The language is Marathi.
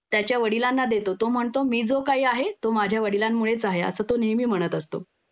त्याच्या वडिलांना देतो तो म्हणतो मी जो काही आहे तो माझ्या वडिलांमुळेच आहे